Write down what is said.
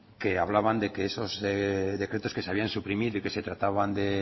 que hablaban de que esos decretos que se habían suprimido y que se trataban de